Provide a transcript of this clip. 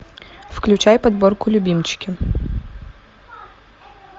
включай подборку любимчики